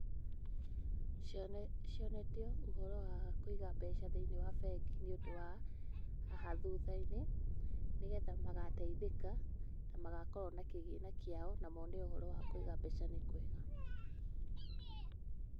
Cionetio ũhoro wa kũiga mbeca thĩiniĩ wa bengi nĩ ũndũ wa haha thutha-inĩ, nĩgetha magateithĩka na magakorwo na kĩgĩna kĩao na mone ũhoro wa kũiga mbeca nĩ kwega.